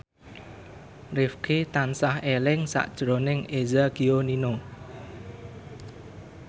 Rifqi tansah eling sakjroning Eza Gionino